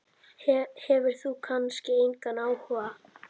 Hefur kannski engan áhuga.